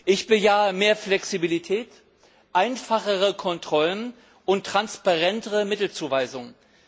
Ich bejahe mehr Flexibilität, einfachere Kontrollen und transparentere Mittelzuweisungen.